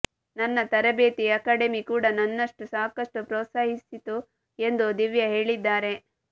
ನನ್ನ ತರಬೇತಿ ಅಕಾಡೆಮಿ ಕೂಡ ನನ್ನನ್ನು ಸಾಕಷ್ಟು ಪ್ರೋತ್ಸಾಹಿಸಿತು ಎಂದು ದಿವ್ಯಾ ಹೇಳಿದ್ದಾರೆ